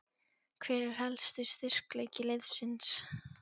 Hver er helsti styrkleiki liðsins?